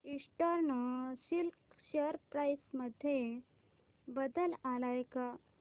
eastern Silk share price मध्ये बदल आलाय का